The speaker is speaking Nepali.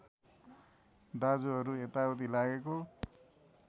दाजुहरू यताउति लागेको